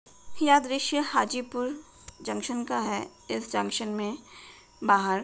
यह दृश्य हाजीपुर जंक्शन का है। इस जंक्शन में बाहर --